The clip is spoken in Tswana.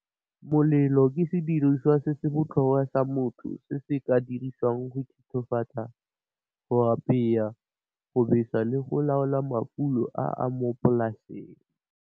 Melole ke sediriswa se se botlhokwa sa motho se se ka dirisiwang go thithofatsa, go apaya, go besa le go laola mafulo a a mo polaseng.